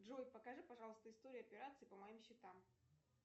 джой покажи пожалуйста историю операций по моим счетам